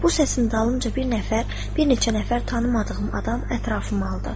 Bu səsin dalınca bir nəfər, bir neçə nəfər tanımadığım adam ətrafımı aldı.